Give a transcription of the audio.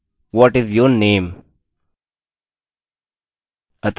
अतः यह हमारी स्ट्रिंग है